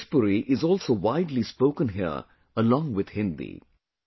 Bhojpuri is also widely spoken here, along with Hindi